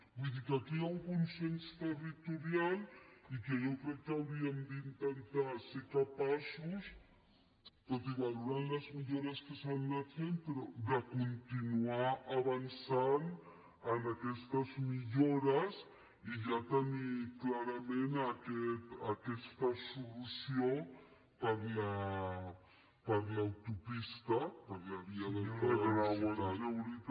vull dir que aquí hi ha un consens territorial i que jo crec que hauríem d’intentar ser capaços valorant les millores que s’han anat fent de continuar avançant en aquestes millores i ja tenir clarament aquesta solució per a l’autopista per a la via d’alta velocitat